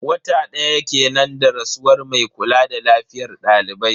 Wata daya kenan da rasuwar mai kula da lafiyar daliban.